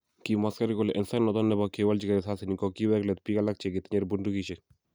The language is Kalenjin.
Kimwa asikarik kole en sait noton nebo kewolchigei risasinik, ko kiwek let biik alak che kitinye bundukisiek